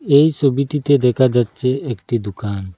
এই ছবিটিতে দেখা যাচ্ছে একটি দুকান ।